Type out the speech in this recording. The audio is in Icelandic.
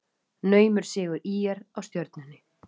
Naumur sigur ÍR á Stjörnunni